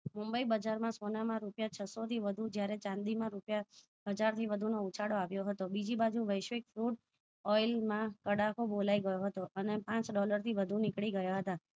મુંબઈ બજાર સોના માં રૂપિયા છસો થી વધુ ચાંદી માં રૂપિયા હજાર થી વધુ નો ઉછાળો આવ્યો હતો બીજી બાજુ વૈશ્વિક છૂટ oil માં તડકો બોલાઈ ગયો હતો અને પાંચ ડોલર થી વધુ નીકળી ગયા હતા